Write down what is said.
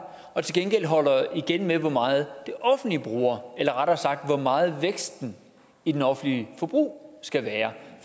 og til gengæld holder igen med hvor meget det offentlige bruger eller rettere sagt hvor meget væksten i det offentlige forbrug skal være